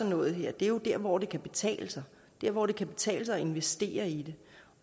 noget her er jo der hvor det kan betale sig der hvor det kan betale sig at investere i det